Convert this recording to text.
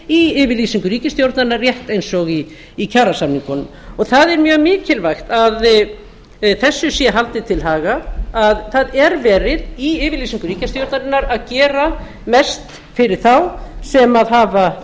í yfirlýsingu ríkisstjórnarinnar rétt eins og í kjarasamningunum og það er mjög mikilvægt að þessu sé haldið til haga að það er verið í yfirlýsingu ríkisstjórnarinnar að gera mest fyrir þá sem hafa